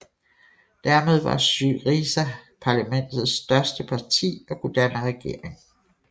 Dermed var SYRIZA parlamentets største parti og kunne danne regering